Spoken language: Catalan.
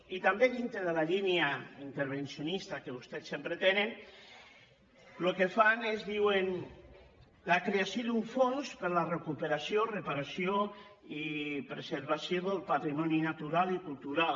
i també dintre de la línia intervencionista que vostès sempre tenen el que fan és diuen la creació d’un fons per a la recuperació reparació i preservació del patrimoni natural i cultural